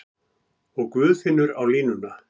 Og Guðfinnur á línuna!